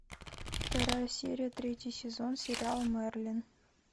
вторая серия третий сезон сериал мерлин